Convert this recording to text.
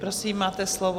Prosím, máte slovo.